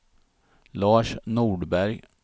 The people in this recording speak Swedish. Lars Nordberg